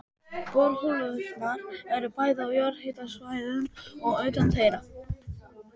Borholurnar eru bæði á jarðhitasvæðum og utan þeirra.